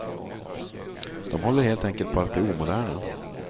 De håller helt enkelt på att bli omoderna.